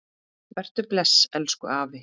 Vertu bless, elsku afi.